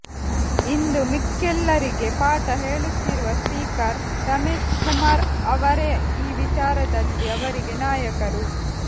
ಇಂದು ಮಿಕ್ಕೆಲ್ಲರಿಗೆ ಪಾಠ ಹೇಳುತ್ತಿರುವ ಸ್ಪೀಕರ್ ರಮೇಶ್ಕುಮಾರ್ ಅವರೇ ಈ ವಿಚಾರದಲ್ಲಿ ಅವರಿಗೆ ನಾಯಕರು